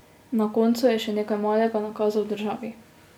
Na koncu je še nekaj malega nakazal državi.